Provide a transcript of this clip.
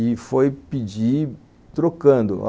E foi pedir trocando.